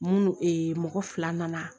Mun mɔgɔ fila nana